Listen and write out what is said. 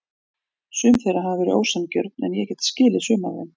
Sum þeirra hafa verið ósanngjörn en ég get skilið sum af þeim.